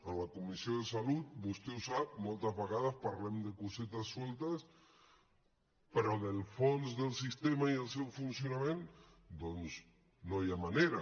en la comissió de salut vostè ho sap moltes vegades parlem de cosetes soltes però del fons del sistema i el seu funcionament doncs no hi ha manera